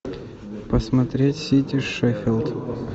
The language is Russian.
посмотреть сити с шеффилд